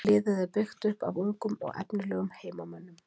Liðið er byggt upp af ungum og efnilegum heimamönnum.